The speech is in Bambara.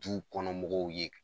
Duw kɔnɔ mɔgɔw ye.